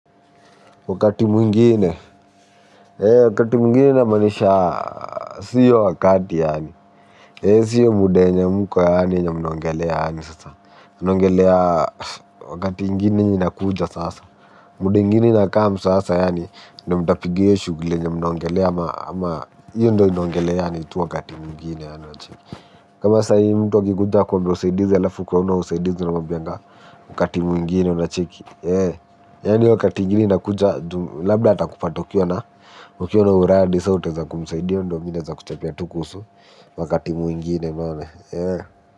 Wakati mwingine, wakati mwingine ina maanisha, siyo hii wakati yaani, siyo hii muda yenye mko yaani yenye mnongelea yaani sasa. Mnaongelea wakati ingine yenye inakuja sasa. Muda ingine 'inacome' sasa yaani, ndio mtapiga hio shughuli yenye mnaongelea hio ndio mnaongelea yaani tu wakati mwingine. Unacheki? Kama saa hii mtu akikuja akuombe usaidizi alafu ukuwe huna usaidizi unamwambianga, wakati mwingine. Unacheki? Yaani wakati mwingine inakuja labda takupata ukiwa na ukiwa na uradi 'so' utaweza kumsaidia. Hio ndio mi naeza kuchapia tu kuhusu wakati mwingine.